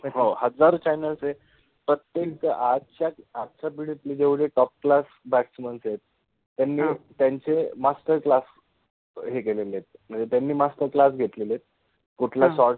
हो, हजारो channels {channels} आहेत, प्रत्येक आजच्या आजच्या पिढितले जेवढे top class {top class} batsman {batsman} आहेत त्यांचे मास्टर क्लास {master class} हे केलेले आहेत मनजे त्यानि मास्टर क्लास {master class} घेतलेले आहेत, कुठल शोट्स {shots}